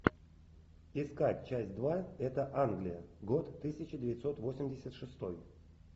искать часть два это англия год тысяча девятьсот восемьдесят шестой